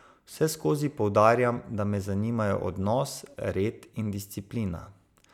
Vseskozi poudarjam, da me zanimajo odnos, red in disciplina.